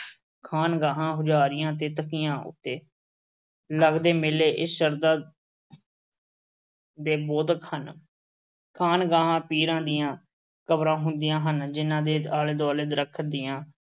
ਖਾਨਗਾਹਾਂ, ਹੁਜਾਰੀਆਂ ਤੇ ਤਕੀਆ ਉੱਤੇ ਲਗਦੇ ਮੇਲੇ ਇਸ ਸ਼ਹਧਾ ਦੇ ਬੋਧਕ ਹਨ। ਖਾਨਗਾਹਾਂ ਪੀਰਾਂ ਦੀਆਂ ਕਬਰਾਂ ਹੁੰਦੀਆਂ ਹਨ, ਜਿਨ੍ਹਾਂ ਦੇ ਆਲੇ-ਦੁਆਲੇ ਦਰਖਤ ਦੀਆਂ